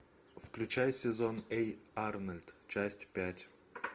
включай сезон эй арнольд часть пять